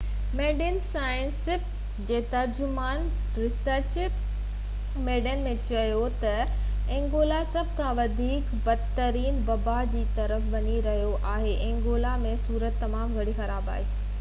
medicines Sans Frontières جي ترجمان Richard Veerman چيو تہ انگولا سڀ کان وڌيڪ بدترين وبا جي طرف وڃي رهيو آهي ۽ انگولا ۾ صورت تمام گهڻي خراب آهي